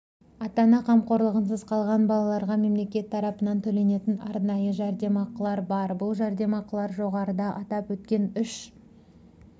ата-ана қамқорлығынсыз қалған балаларға мемлекет тарапынан төленетін арнайы жәрдемақылар бар бұл жәрдемақылар жоғарыда атап өткен үш